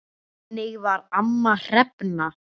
Þannig var amma Hrefna.